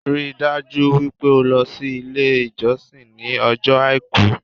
Ríi dájú wípé o lo sí Ilé ìjọsìn ní ọjọ́ Àìkú